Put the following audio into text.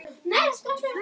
Nauðug fór hún.